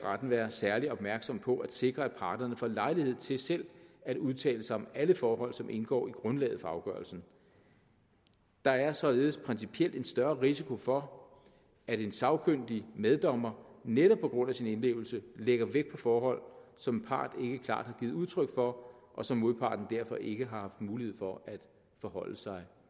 være særlig opmærksom på at sikre at parterne får lejlighed til selv at udtale sig om alle forhold som indgår i grundlaget for afgørelsen der er således principielt en større risiko for at en sagkyndig meddommer netop på grund af sin indlevelse lægger vægt på forhold som en part ikke klart har givet udtryk for og som modparten derfor ikke har haft mulighed for at forholde sig